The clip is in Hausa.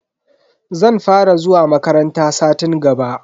Zan fara zuwa makaranta satin gaba.